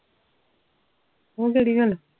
ਉਹ ਘਰੇ ਆ